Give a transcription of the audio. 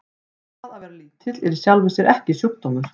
Það að vera lítill er í sjálfu sér ekki sjúkdómur.